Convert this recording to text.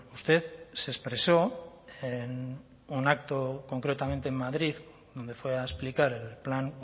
usted se expresó en un acto concretamente en madrid donde fue a explicar el plan